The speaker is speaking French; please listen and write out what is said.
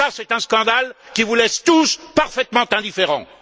Ça c'est un scandale qui vous laisse tous parfaitement indifférents!